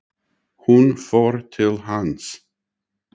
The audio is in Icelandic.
Hún fór til hans.